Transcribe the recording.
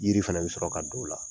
Yiri fɛnɛ bɛ sɔrɔ ka don o la.